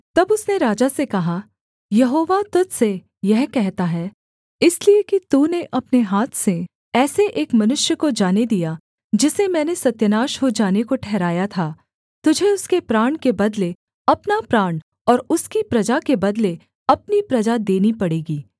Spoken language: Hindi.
तब उसने राजा से कहा यहोवा तुझ से यह कहता है इसलिए कि तूने अपने हाथ से ऐसे एक मनुष्य को जाने दिया जिसे मैंने सत्यानाश हो जाने को ठहराया था तुझे उसके प्राण के बदले अपना प्राण और उसकी प्रजा के बदले अपनी प्रजा देनी पड़ेगी